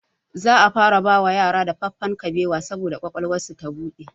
Za a fara bawa yara dafaffen kabewa saboda ƙwaƙwalwarsu ta buɗe